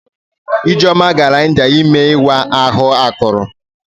Ijeoma gara India ime ịwa ahụ akụrụ.